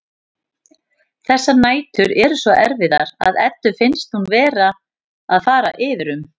Þessar nætur eru svo erfiðar að Eddu finnst hún vera að fara yfir um.